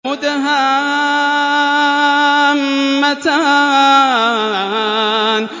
مُدْهَامَّتَانِ